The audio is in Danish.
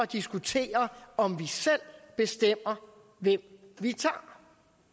diskutere om vi selv bestemmer hvem vi tager